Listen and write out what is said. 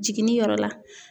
Jiginniyɔrɔ la.